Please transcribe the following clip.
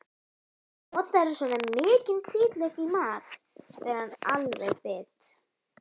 Notarðu svona mikinn hvítlauk í mat, spyr hann alveg bit.